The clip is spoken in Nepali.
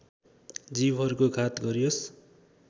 जीवहरूको घात गरियोस्